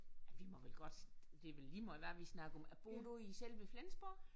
Ej vi må vel godt det vel lige meget hvad vi snakker om bor du i selve Flensborg?